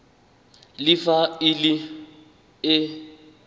le fa e le e